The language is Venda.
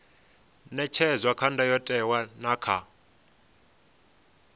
ṅetshedzwa kha ndayotewa na kha